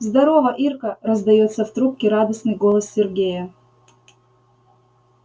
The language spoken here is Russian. здорово ирка раздаётся в трубке радостной голос сергея